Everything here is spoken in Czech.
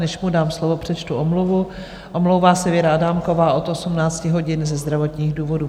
Než mu dám slovo, přečtu omluvu: omlouvá se Věra Adámková od 18 hodin ze zdravotních důvodů.